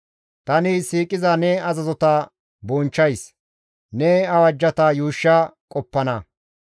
Tani siiqiza ne azazota bonchchays; ne awajjata yuushsha qoppana.